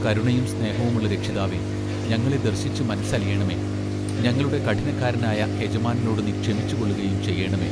കരുണയും സ്നേഹവുമുള്ള രക്ഷിതാവേ ഞങ്ങളെ ദർശിച്ചു മനസ്സലിയേണമെ ഞങ്ങളുടെ കഠിനക്കാരനായ യജമാനനോടു നീ ക്ഷമിച്ചുകൊള്ളുകയും ചെയ്യേണമേ.